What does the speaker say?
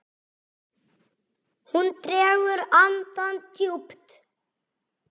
Hún dregur andann djúpt.